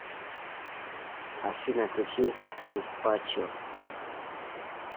афина включи сан пачо